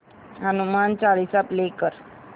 Hanuman Chalisa play कर